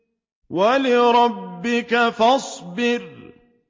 وَلِرَبِّكَ فَاصْبِرْ